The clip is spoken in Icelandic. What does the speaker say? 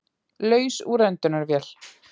Laus úr öndunarvél